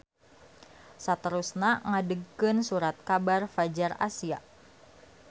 Saterusna ngadegkeun surat kabar Fadjar Asia.